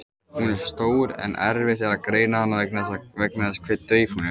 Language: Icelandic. Hún er stór en erfitt er að greina hana vegna þess hve dauf hún er.